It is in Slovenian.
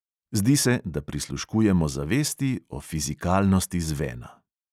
Zdi se, da prisluškujemo zavesti o fizikalnosti zvena.